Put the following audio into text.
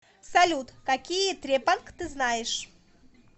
салют какие трепанг ты знаешь